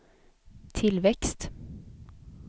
tillväxt